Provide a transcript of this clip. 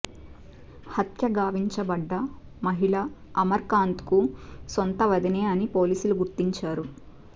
హత్యగావించబడ్డ మహిళ అమర్ కాంత్కు సొంత వదినే అని పోలీసులు గుర్తించారు